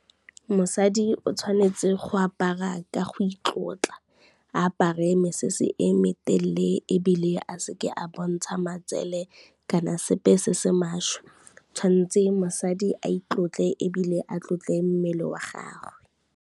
Mosadi o tshwanetse go apara ka go itlotla, apare mesese e meteele ebile a se ke a bontsha matsele kana sepe se se maswe, tshwantse mosadi a itlotle ebile a tlotle mmele wa gage.